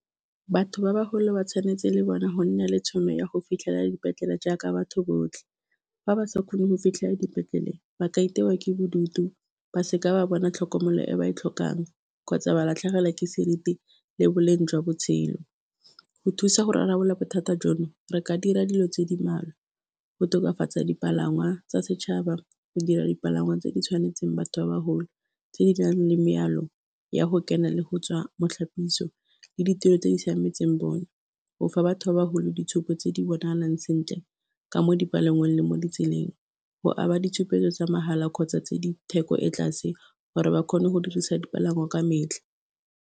Batho ba bagolo ba tshwanetse le bona go nna le tšhono ya go fitlhelela dipetlele jaaka batho botlhe fa ba sa kgone go fitlhelela dipetlele ba ka itewa ke bodutu ba seka ba bona tlhokomelo e ba e tlhokang kgotsa ba latlhegelwa ke seriti le boleng jwa botshelo, go thusa go rarabolola bothata jono re ka dira dilo tse di mmalwa, go tokafatsa dipalangwa tsa setšhaba, go dira dipalangwa tse di tshwanetseng batho ba bagolo, tse di nang le mealo ya go kena le go tswa mo ditlhapiso le ditiro tse di siametseng bone, o fa batho ba bagolo ditshupo tse di bonalang sentle ka mo dipalangweng le mo ditseleng go aba ditshupetso tsa mahala kgotsa tse di theko e ko tlase gore ba kgone go dirisa dipalangwa ka metlha.